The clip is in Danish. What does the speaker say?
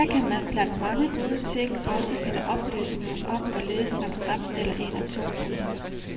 Her kan man blandt mange gode ting også finde oplysninger om hvorledes man fremstiller en atombombe.